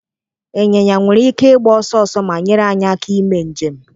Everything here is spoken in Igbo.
Ịnyịnya nwere ike ịgba ọsọ ọsọ ma nyere anyị aka ime njem.